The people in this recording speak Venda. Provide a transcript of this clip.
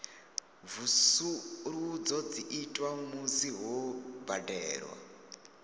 mvusuludzo dzi itwa musi ho badelwa